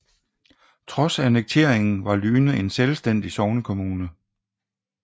Trods annekteringen var Lyne en selvstændig sognekommune